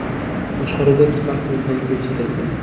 boshqaruvidagi Spark ko‘zdan kechirilgan.